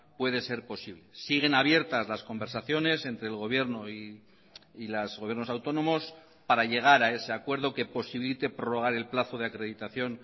puede ser posible siguen abiertas las conversaciones entre el gobierno y los gobiernos autónomos para llegar a ese acuerdo que posibilite prorrogar el plazo de acreditación